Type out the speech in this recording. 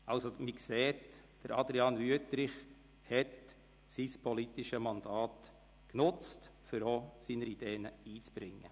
Man sieht: Adrian Wüthrich hat sein politisches Mandat genutzt, um seine Ideen einzubringen.